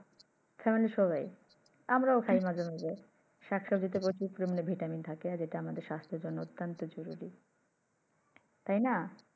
Family এর সবাই আমরাও খাই মাঝে মাঝে শাক সব্জিতে প্রচুর পরিমান Vitamin থাকে। যেটা আমাদের স্বাস্থ্যের জন্য অত্যন্ত জরুরি। তাই না?